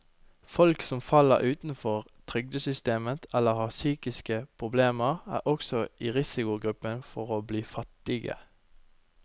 Folk som faller utenfor trygdesystemet eller har psykiske problemer, er også i risikogruppen for å bli fattige.